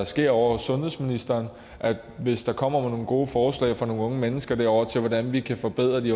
sker ovre hos sundhedsministeren hvis der kommer nogle gode forslag fra nogle unge mennesker derovre til hvordan vi kan forbedre de